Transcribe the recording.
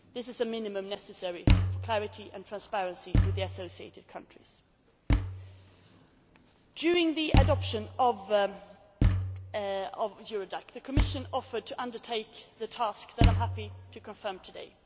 This is the minimum necessary for clarity and transparency with the associated countries. During the adoption of Eurodac, the Commission offered to undertake two tasks that I am happy to confirm